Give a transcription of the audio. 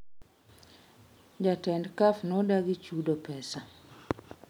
Jatend Caf nodagi chudo pesa